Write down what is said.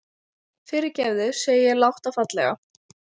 Fyrirgefðu, segi ég lágt og fallega.